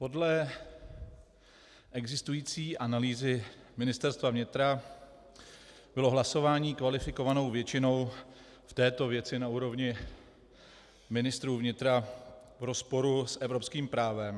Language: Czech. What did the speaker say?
Podle existující analýzy Ministerstva vnitra bylo hlasování kvalifikovanou většinou v této věci na úrovni ministrů vnitra v rozporu s evropským právem.